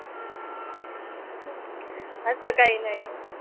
असं काही नाही आहे.